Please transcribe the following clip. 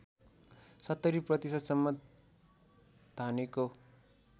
७० प्रतिशतसम्म धानेको